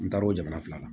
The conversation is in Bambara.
N taar o jamana fila la